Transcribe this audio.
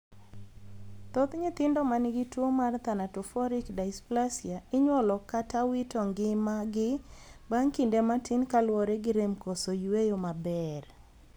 Thoth jnyithindo man gi tuo mar thanatophoric dysplasia inyuolo kata wito ng'ima gi bang' kinde matin kaluwore gi rem koso yueyo mabeer.